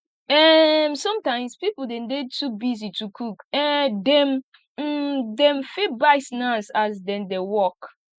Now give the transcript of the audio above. um sometimes pipo de dey too busy to cook um dem um dem fit buy snacks as dem dey work